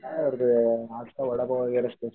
काय वडापाव वगैरा